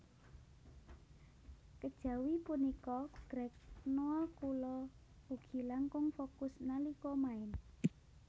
Kejawi punika Greg Nwokolo ugi langkung fokus nalika main